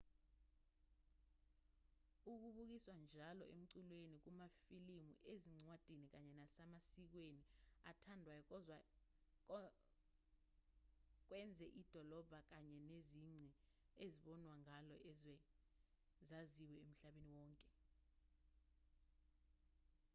ukubukiswa kwalo njalo emculweni kumafilimu ezincwadini kanye nasemasikweni athandwayo kwenze idolobha kanye nezici ezibonwa ngalo izwe zaziwe emhlabeni wonke